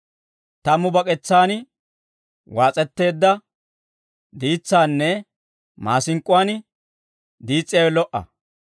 Tammu bak'etsaan waas'etteedda diitsaanne, maasink'k'uwaan diis's'iyaawe lo"a.